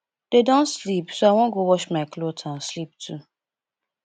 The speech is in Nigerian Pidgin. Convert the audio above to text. dey don sleep so i wan go wash my cloth and sleep too